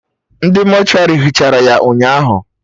Ndị mortuary hichara ya ụnyaahụ